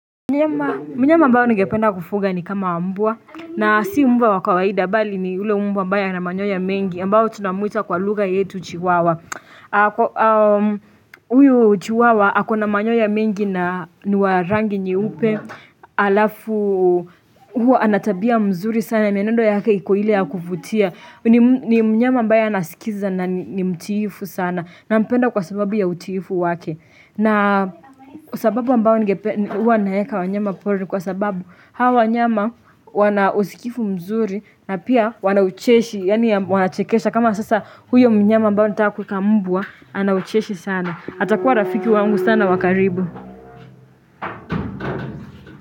Mnyama ambaye ningependa kufuga ni kama mbwa na si mbwa wa kawaida bali ni ule mbwa ambaye ana manyoya mengi ambaye tunamuita kwa lugha yetu chiwawa Huyu chiwawa akona manyoya mengi na ni wa rangi nyeupe Alafu huwa ana tabia nzuri sana mienendo yake iko ile ya kuvutia. Ni mnyama ambaye anaskiza na ni mtiifu sana. Nampenda kwa sababu ya utiifu wake na sababu ambayo ngepe, huwa naeka wanyama pori kwa sababu hawa wanyama wana usikifu mzuri na pia wanachekesha kama sasa huyo mnyama ambaye nataka kueka mbwa, ana ucheshi sana. Atakuwa rafiki wangu sana wakaribu.